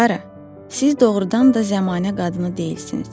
Klara, siz doğrudan da zəmanə qadını deyilsiniz.